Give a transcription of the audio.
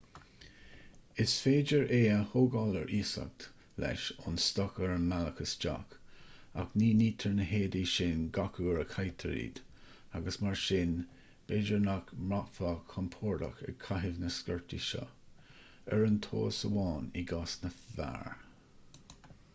is féidir é seo a thógáil ar iasacht leis ón stoc ar an mbealach isteach ach ní nitear na héadaí sin gach uair a chaitear iad agus mar sin b'fhéidir nach mbraithfeá compordach ag caitheamh na sciortaí seo oireann tomhas amháin i gcás na bhfear